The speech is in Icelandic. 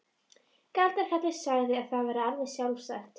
Galdrakarlinn sagði að það væri alveg sjálfsagt.